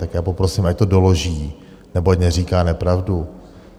Tak já poprosím, ať to doloží, nebo ať neříká nepravdu.